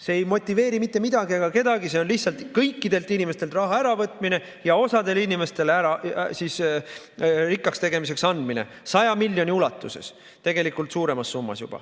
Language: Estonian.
See ei motiveeri mitte midagi ega kedagi, see on lihtsalt kõikidelt inimestelt raha äravõtmine ja osale inimestele rikkaks tegemiseks andmine 100 miljoni ulatuses, tegelikult juba suuremas summas.